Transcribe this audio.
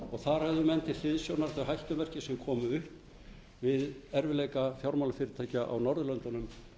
og þar höfðu menn til hliðsjónar þau hættumerki sem komu upp við erfiðleika fjármálafyrirtækja á norðurlöndunum